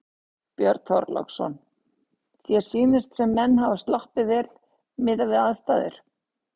Björn Þorláksson: Þér sýnist sem menn hafi sloppið vel miðað við aðstæður?